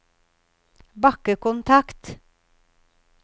bakkekontakt